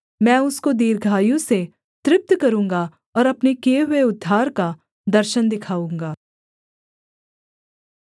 मैं उसको दीर्घायु से तृप्त करूँगा और अपने किए हुए उद्धार का दर्शन दिखाऊँगा